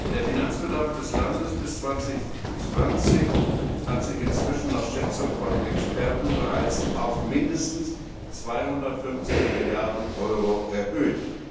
Der Finanzbedarf des Landes bis 2020 hat sich inzwischen nach Schätzung von Experten bereits auf mindestens 250 Milliarden Euro erhöht.